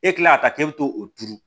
E kila ka taa k'e bɛ to o turu